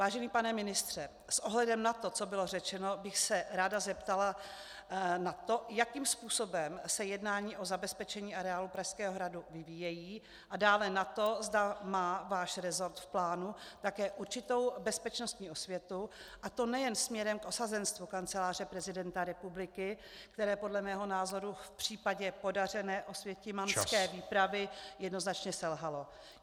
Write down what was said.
Vážený pane ministře, s ohledem na to, co bylo řečeno, bych se ráda zeptala na to, jakým způsobem se jednání o zabezpečení areálu Pražského hradu vyvíjejí, a dále na to, zda má váš resort v plánu také určitou bezpečnostní osvětu, a to nejen směrem k osazenstvu Kanceláře prezidenta republiky, které podle mého názoru v případě podařené osvětimanské výpravy jednoznačně selhalo.